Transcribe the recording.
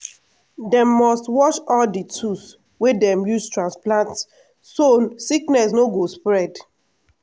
dem must wash all di tools wey dem use transplant so sickness no go spread.